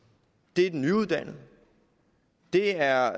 det er de nyuddannede og det er